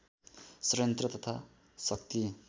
षड्यन्त्र तथा शक्ति